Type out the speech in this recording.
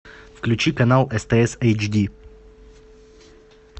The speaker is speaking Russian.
включи канал стс эйч ди